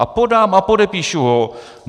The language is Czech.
A podám a podepíšu ho.